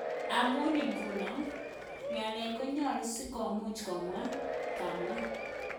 Amun iguno, ngalek konyalu si komuch komwa.,kawam